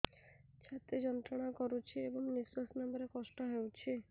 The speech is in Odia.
ଛାତି ଯନ୍ତ୍ରଣା କରୁଛି ଏବଂ ନିଶ୍ୱାସ ନେବାରେ କଷ୍ଟ ହେଉଛି